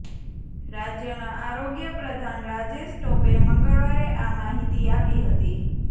રાજ્યના આરોગ્ય પ્રધાન રાજેશ ટોપે મંગળવારે આ માહિતી આપી હતી